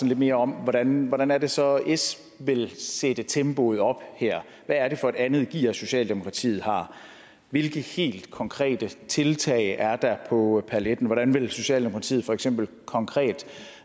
lidt mere om hvordan hvordan det så er s vil sætte tempoet op hvad er det for et andet gear socialdemokratiet har hvilke helt konkrete tiltag er der på paletten hvordan vil socialdemokratiet for eksempel konkret